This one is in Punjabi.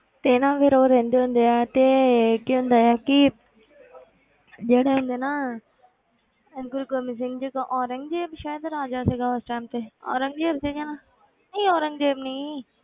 ਤੇ ਨਾ ਫਿਰ ਉਹ ਰਹਿੰਦੇ ਹੁੰਦੇ ਆ ਤੇ ਕੀ ਹੁੰਦਾ ਆ ਕਿ ਜਿਹੜਾ ਇਹਨਾਂ ਦੇ ਨਾ ਗੁਰੂ ਗੋਬਿੰਦ ਸਿੰਘ ਜੀ ਔਰੰਗਜ਼ੇਬ ਸ਼ਾਇਦ ਰਾਜਾ ਸੀਗਾ ਉਸ time ਤੇ ਔਰੰਗਜ਼ੇਬ ਸੀਗਾ ਨਾ ਨਹੀਂ ਔਰੰਗਜ਼ੇਬ ਨਹੀਂ,